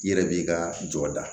I yɛrɛ b'i ka jɔ da